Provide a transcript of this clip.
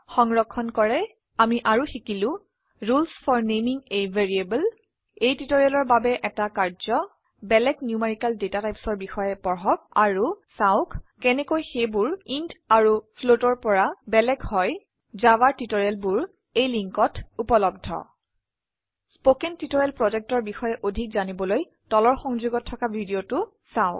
সংৰক্ষন কৰে আমি আৰু শিকিলো rules for naming a variable এই টিউটৰীয়েলৰ বাবে এটা কাৰ্য্য বেলেগ নিউমেৰিকেল ডাটা typesঅৰ বিষয়ে পঢ়ক আৰু চাওক কেনেকৈ সেইবোৰ ইণ্ট আৰু floatঅৰ পৰা বেলেগ হয় জাভাৰ টিউটৰিয়েল বোৰ এই লিন্কত উপলব্ধ spoken টিউটৰিয়েল projectৰ বিষয়ে অধিক জানিবলৈ তলৰ সংযোগত থকা ভিডিঅ চাওক